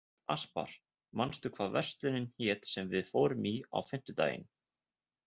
Aspar, manstu hvað verslunin hét sem við fórum í á fimmtudaginn?